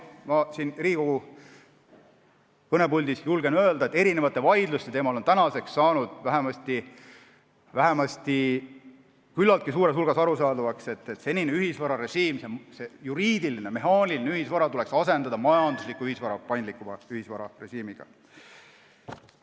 Julgen siin Riigikogu kõnepuldis öelda, et mitmete vaidluste põhjal on saanud küllaltki suurel määral arusaadavaks, et senine ühisvararežiim, see juriidiline, mehaaniline ühisvara tuleks asendada majandusliku ühisvaraga, paindlikuma ühisvararežiimiga.